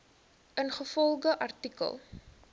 ingevolge artikel